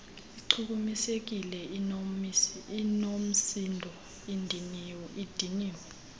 ichukumisekile inoomsindo idiniwe